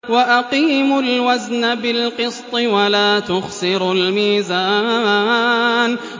وَأَقِيمُوا الْوَزْنَ بِالْقِسْطِ وَلَا تُخْسِرُوا الْمِيزَانَ